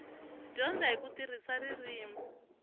dyondza hi ku tirhisa ririmi